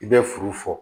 I bɛ furu fɔ